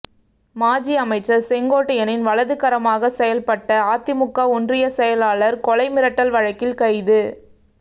மாஜி அமைச்சர் செங்கோட்டையனின் வலதுகரமாக செயல்பட்ட அதிமுக ஒன்றிய செயலாளர் கொலை மிரட்டல் வழக்கில் கைது